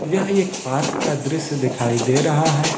यह एक पार्क का दृश्य दिखाई दे रहा है।